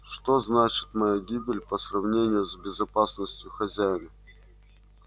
что значит моя гибель по сравнению с безопасностью хозяина